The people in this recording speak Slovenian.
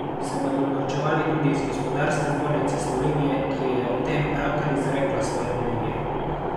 Se bodo norčevali tudi iz Gospodarske zbornice Slovenije, ki je o tem pravkar izrekla svoje mnenje?